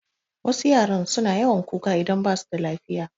Wasu yaran suna yawan kuka idan basu da lafiya